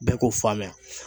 Bɛɛ k'o faamuya.